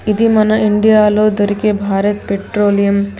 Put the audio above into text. ఇది మన ఇండియాలో దొరికే భారత్ పెట్రోలియం .